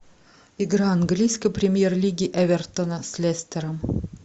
игра английской премьер лиги эвертона с лестером